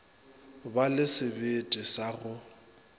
ba le sebete sa go